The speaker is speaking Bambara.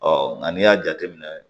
nka n'i y'a jateminɛ